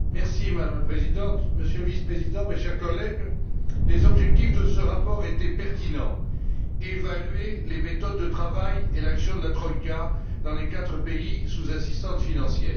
Madame la Présidente, Monsieur le Vice Président, mes chers collègues, les objectifs de ce rapport étaient pertinents évaluer les méthodes de travail et l'action de la troïka dans les quatre pays sous assistance financière.